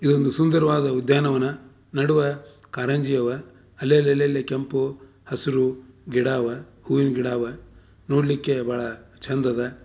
ಇದು ಒಂದು ಸುಂದರವಾದ ಉದ್ಯಾನವನ ನಡುವೆ ಕಾರಂಜಿ ಯವ ಅಲ್ಲಿ ಅಲ್ಲಿ ಕೆಂಪು ಹಸಿರು ಗಿಡ ಅವೇ ಹೂವಿನ ಗಿಡ ಇವೆ ನೋಡಲಿಕ್ಕೆ ಬಹಳ ಚಂದ ಅದ.